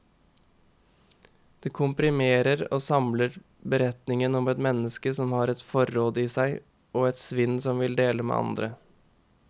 Det komprimerer og samler beretningen om et menneske som har et forråd i seg, og et sinn som vil dele med andre.